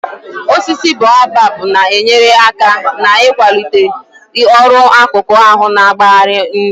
Osisi boabab na-enyere aka n'ikwalite ọrụ akụkụ ahụ na-agbari nri